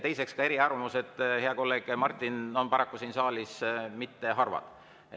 Teiseks, eriarvamused, hea kolleeg Martin, pole paraku siin saalis harvad.